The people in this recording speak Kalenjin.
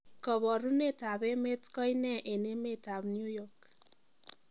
koborunet ab emet koinee en emet ab new york